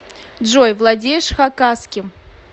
джой владеешь хакасским